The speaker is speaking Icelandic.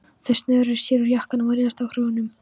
Þeir snöruðu sér úr jökkunum og réðust á hrúgurnar.